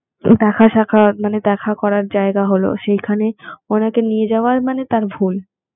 দেখা শাখা মানে দেখা করার জায়গা হল সেখানে ওনাকে নিয়ে যাওয়া মানে তার ভুল